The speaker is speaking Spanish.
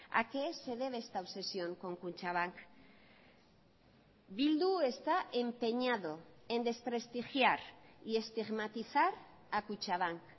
a qué se debe esta obsesión con kutxabank bildu está empeñado en desprestigiar y estigmatizar a kutxabank